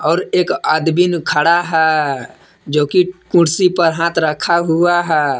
और एक आदमीन खड़ा है जोकि कुर्सी पर हाथ रखा हुआ है।